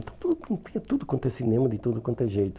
Então, tinha tudo quanto é cinema, de tudo quanto é jeito.